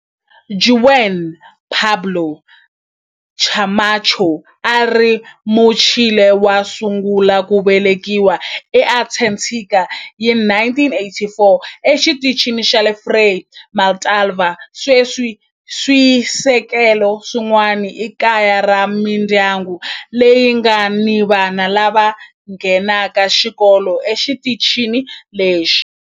Juan Pablo Camacho a a ri Muchile wo sungula ku velekiwa eAntarctica hi 1984 eXitichini xa Frei Montalva. Sweswi swisekelo swin'wana i kaya ra mindyangu leyi nga ni vana lava nghenaka xikolo exitichini lexi.